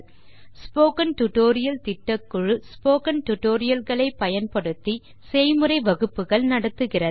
spoken tutorial திட்டக்குழு spoken tutorial களை பயன்படுத்தி செய்முறை வகுப்புகள் நடத்துகிறது